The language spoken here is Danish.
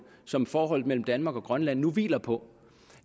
som forholdet mellem danmark og grønland nu hviler på